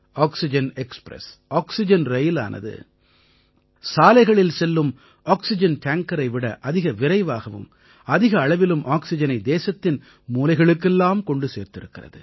oxygen express oxygen ரயிலானது சாலைகளில் செல்லும் ஆக்சிஜன் டேங்கரை விட அதிக விரைவாகவும் அதிக அளவிலும் ஆக்சிஜனை தேசத்தின் மூலைகளுக்கெல்லாம் கொண்டு சேர்த்திருக்கிறது